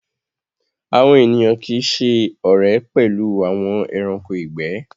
Awọn ènìyàn kíì ṣẹ ọ̀rẹ̀ pẹ̀lú awọn ẹ̀ránkò igbẹ̀